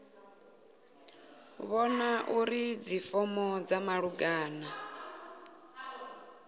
vhona uri dzifomo dza malugana